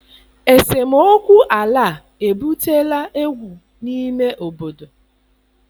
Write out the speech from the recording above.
Esemokwu ala a ebutela egwu n'ime obodo.